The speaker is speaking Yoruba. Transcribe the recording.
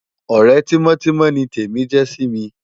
Òrè timòtimò ni Temi jè si mi